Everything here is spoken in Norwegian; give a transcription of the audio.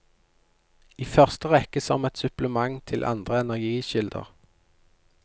I første rekke som et supplement til andre energikilder.